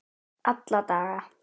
Alla daga.